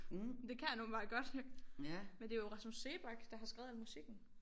Men det kan han åbenbart godt men det er jo Rasmus Seebach der har skrevet al musikken